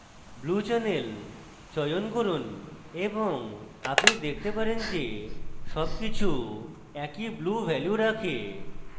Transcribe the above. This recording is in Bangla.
blue channel চয়ন করুন এবং আপনি দেখতে পারেন যে সবকিছু একই blue value রাখে